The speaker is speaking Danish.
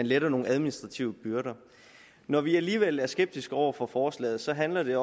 letter nogle administrative byrder når vi alligevel er skeptiske over for forslaget handler det